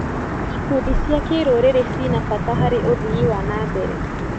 Ikundi cia kĩrũrĩrĩ cina bata harĩ ũthii wa na mbere.